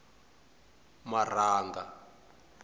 marhanga